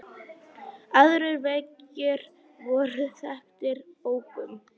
Aðrir veggir voru þaktir bókum.